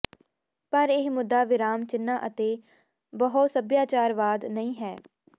ਪਰ ਇਹ ਮੁੱਦਾ ਵਿਰਾਮ ਚਿੰਨ੍ਹਾਂ ਅਤੇ ਬਹੁਸਭਿਆਚਾਰਵਾਦ ਨਹੀਂ ਹੈ